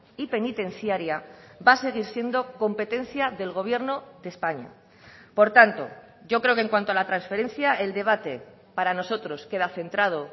y penitenciaria va a seguir siendo competencia del gobierno de españa por tanto yo creo que en cuanto a la transferencia el debate para nosotros queda centrado